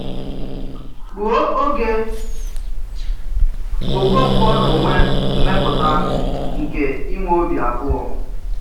Rùo ògè, Òkònkwo n’ònwè mèmpụta nke ìnwè òbì abụọ.